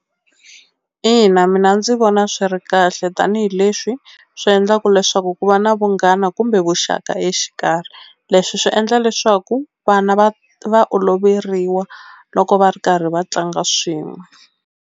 Ina mina ndzi vona swi ri kahle tanihileswi swi endlaku leswaku ku va na vunghana kumbe vuxaka exikarhi leswi swi endla leswaku vana va va oloveriwa loko va ri karhi va tlanga swin'we.